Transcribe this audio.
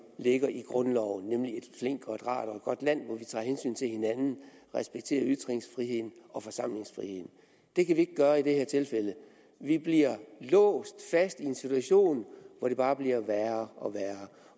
ligger i grundloven nemlig et flinkt og et rart og et godt land hvor vi tager hensyn til hinanden og respekterer ytringsfriheden og forsamlingsfriheden det kan vi ikke gøre i det her tilfælde vi bliver låst fast i en situation hvor det bare bliver værre og værre